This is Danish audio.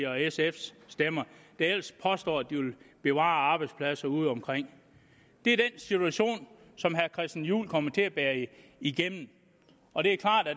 og sfs stemmer der ellers påstår at de vil bevare arbejdspladser udeomkring det er den situation som herre christian juhl kommer til at bære igennem og det er klart at